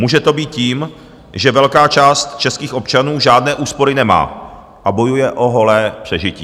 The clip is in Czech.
Může to být tím, že velká část českých občanů žádné úspory nemá a bojuje o holé přežití.